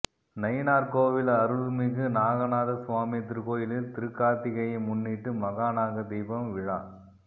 நயினாா்கோவில் அருள்மிகு நாகநாத சுவாமி திருக்கோயிலில் திருக்காா்த்திகையை முன்னிட்டு மகா நாகதீபம் விழா